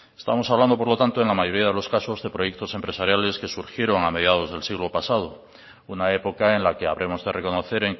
estamos hablando por lo tanto en la mayoría de los casos de proyectos empresariales que surgieron a mediados del siglo pasado una época en la que habremos de reconocer